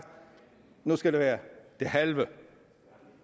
nu skal det være det halve